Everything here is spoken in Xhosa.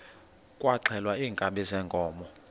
kwaxhelwa iinkabi zeenkomo